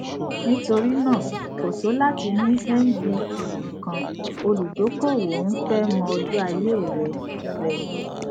nítorí náà kò tó láti ní mvp nìkan olùdókòwò n fẹ mọ ọjọ ayé rẹ rẹ